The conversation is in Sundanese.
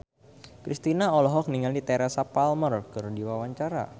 Kristina olohok ningali Teresa Palmer keur diwawancara